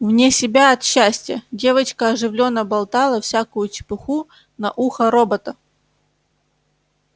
вне себя от счастья девочка оживлённо болтала всякую чепуху на ухо робота